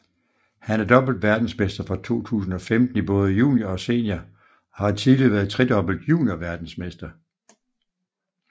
Han er dobbelt verdensmester fra 2015 i både junior og senior og har tidligere været tredobbelt juniorverdensmester